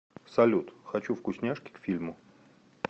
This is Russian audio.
салют хочу вкусняшки к фильму